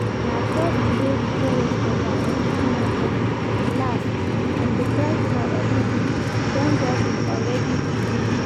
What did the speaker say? Na just day before yesterday I enter market last and the price for everything don double already today